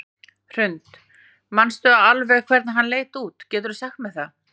Hrund: Manstu alveg hvernig hann leit út, geturðu sagt mér það?